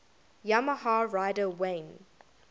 yamaha rider wayne